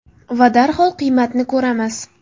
va darhol qiymatni ko‘ramiz.